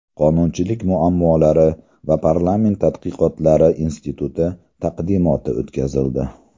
Qonunchilik muammolari va parlament tadqiqotlari instituti taqdimoti o‘tkazildi.